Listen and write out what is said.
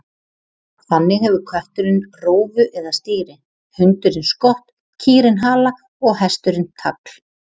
Þannig hefur kötturinn rófu eða stýri, hundurinn skott, kýrin hala og hesturinn tagl.